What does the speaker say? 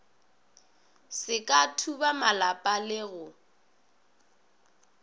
se ka thubamalapa le go